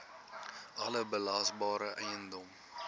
alle belasbare eiendom